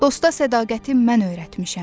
Dosta sədaqəti mən öyrətmişəm.